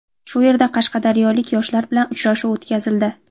Shu yerda qashqadaryolik yoshlar bilan uchrashuv o‘tkazildi.